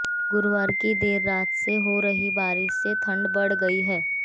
गुरुवार की देर रात से हो रही बारिश से ठंड बढ़ गई है